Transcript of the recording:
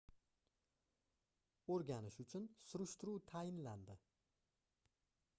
oʻrganish uchun surishtiruv tayinlandi